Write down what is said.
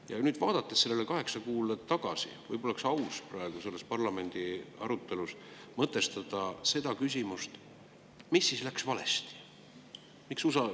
Ja nüüd, vaadates sellele kaheksale kuule tagasi, oleks ehk aus praeguses parlamendiarutelus mõtestada seda küsimust, mis siis läks valesti.